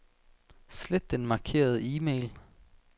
Slet den markerede e-mail.